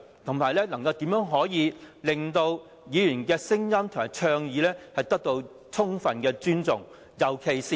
再者，怎樣令到議員的聲音及倡議充分被尊重？